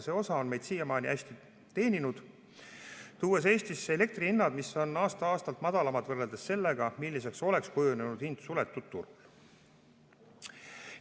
See on meid siiamaani hästi teeninud, tuues Eestisse elektrihinnad, mis on aasta-aastalt madalamad võrreldes sellega, milliseks oleks kujunenud hind suletud turul.